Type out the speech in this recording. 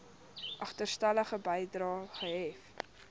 agterstallige bedrae gehef